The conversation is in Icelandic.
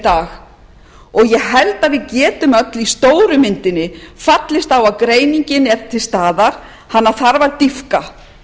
dag og ég held að við getum öll í stóru myndinni fallist á að greiningin er til staðar hana þarf að dýpka